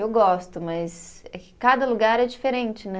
Eu gosto, mas é que cada lugar é diferente, né?